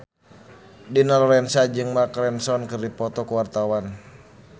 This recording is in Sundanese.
Dina Lorenza jeung Mark Ronson keur dipoto ku wartawan